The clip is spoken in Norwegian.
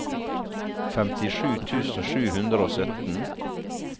femtisju tusen sju hundre og sytten